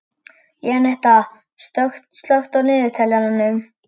Jenetta, slökktu á niðurteljaranum.